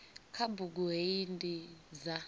kha bugu hei ndi dza